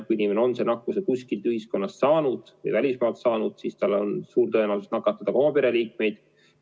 Kui inimene on nakkuse kuskilt meie ühiskonnast või välismaalt saanud, siis tal on suur tõenäosus nakatada ka oma pereliikmeid.